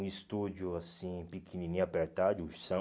Um estúdio, assim, pequenininho, apertado.